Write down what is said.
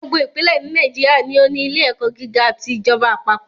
Gbogbo ìpínlẹ̀ ní Nàìjíríà ni ó ní ilé ẹ̀kọ́ gíga ti ìjọba àpapọ̀